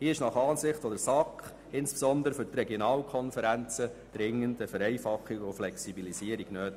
Hier ist nach Ansicht der SAK insbesondere für die Regionalkonferenzen dringend eine Vereinfachung und Flexibilisierung nötig.